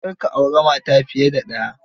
Kar ka auri mata fiye da ɗaya.